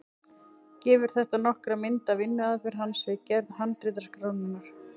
Gefur þetta nokkra mynd af vinnuaðferð hans við gerð handritaskrárinnar.